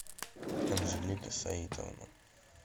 анжелика саитовна